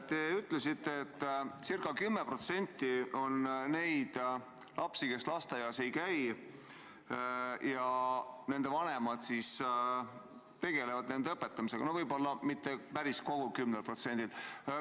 Te ütlesite, et circa 10% on neid lapsi, kes lasteaias ei käi, ja nende vanemad tegelevad nende õpetamisega – no võib-olla mitte päris kogul 10%-l.